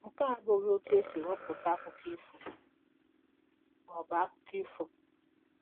Nke a abụghị otú e si ewepụta akụkọ ifo ma ọ bụ akụkọ ifo.